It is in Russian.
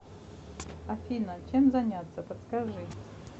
афина чем заняться подскажи